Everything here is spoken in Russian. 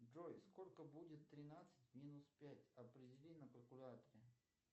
джой сколько будет тринадцать минус пять определи на калькуляторе